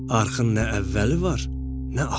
Arxın nə əvvəli var, nə axırı.